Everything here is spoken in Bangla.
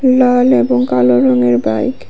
লাল এবং কালো রঙের বাইক ।